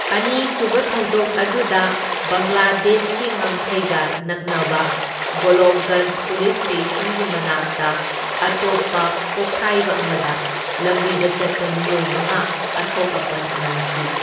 ꯑꯅꯤꯁꯨꯕ ꯊꯧꯗꯣꯛ ꯑꯗꯨꯗ ꯕꯪꯒ꯭ꯂꯥꯗꯦꯁꯀꯤ ꯉꯝꯈꯩꯒ ꯅꯛꯅꯕ ꯒꯣꯂꯣꯛꯒꯟꯖ ꯄꯨꯂꯤꯁ ꯁ꯭ꯇꯦꯁꯟꯒꯤ ꯃꯅꯥꯛꯇ ꯑꯇꯣꯞꯄ ꯄꯣꯈꯥꯏꯕ ꯑꯃꯗ ꯂꯝꯕꯤꯗ ꯆꯠꯄ ꯃꯤꯑꯣꯏ ꯃꯉꯥ ꯑꯁꯣꯛ ꯑꯄꯟ ꯅꯪꯈꯤ꯫